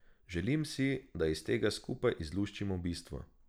Želim si, da iz tega skupaj izluščimo bistvo.